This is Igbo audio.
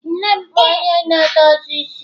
nne m bu onye na-edozi isi.